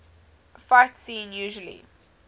fight scene usually